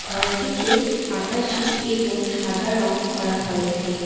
ঘরটিতে আকাশী এবং সাদা রং করা হয়েছে।